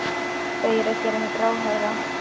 Þau eru að gera mig gráhærða!